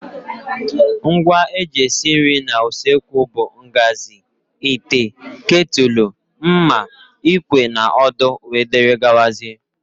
Ngwa eji esi nri n' usekwu bụ ngazi, ite, ketúlú, mma, ikwe na odo wdg.